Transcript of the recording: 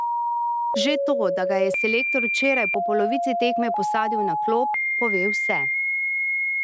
Že to, da ga je selektor včeraj po polovici tekme posadil na klop, pove vse.